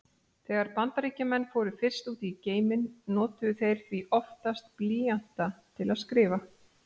Þegar Bandaríkjamenn fóru fyrst út í geiminn notuðu þeir því oftast blýanta til að skrifa.